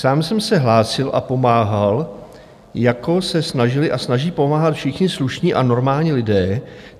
Sám jsem se hlásil a pomáhal, jako se snažili a snaží pomáhat všichni slušní a normální lidé.